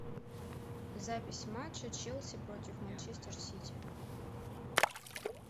запись матча челси против манчестер сити